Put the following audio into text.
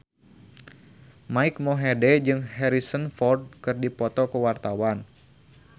Mike Mohede jeung Harrison Ford keur dipoto ku wartawan